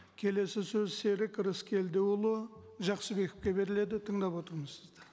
келесі сөз серік рыскелдіұлы жақсыбековке беріледі тыңдап отырмыз сізді